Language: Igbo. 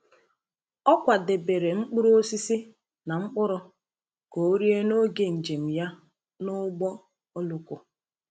Ọ kwadebere mkpụrụ osisi na mkpụrụ ka o rie n’oge njem ya n’ụgbọ oloko.